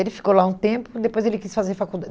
Ele ficou lá um tempo, depois ele quis fazer